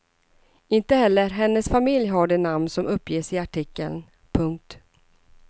Inte heller hennes familj har de namn som uppges i artikeln. punkt